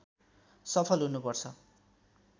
सफल हुनुपर्छ